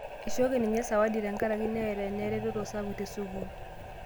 Eishooki ninye sawadi tenkaraki netaa eneretoto sapuk te sukul